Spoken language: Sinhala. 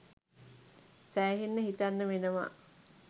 සෑහෙන්න හිතන්න වෙනවා!